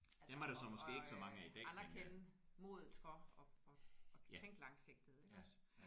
Altså og og og anerkende modet for at at kunne tænke langsigtet iggås